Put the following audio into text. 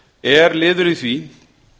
er liður í því